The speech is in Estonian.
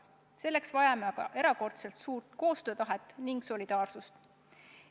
Selleks vajame erakordselt suurt koostöötahet ja solidaarsust.